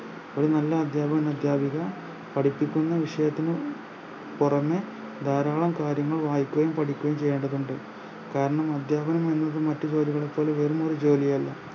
ഒരു നല്ല അദ്ധ്യാപകൻ അദ്ധ്യാപിക പഠിപ്പിക്കുന്ന വിഷയത്തിന് പുറമെ ധാരാളം കാര്യങ്ങൾ വായിക്കുകയും പഠിക്കുകയും ചെയ്യേണ്ടതുണ്ട് കാരണം അദ്ധ്യാപകൻ എന്നത് മറ്റു ജോലികളെപ്പോലെ വെറുമൊരു ജോലിയല്ല